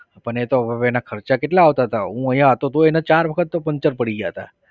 પણ એતો હવે એના ખર્ચા કેટલા આવતા હતા. હું અહીંયા હતો તોય એને ચાર વખત તો પંચર પડી ગયા હતા.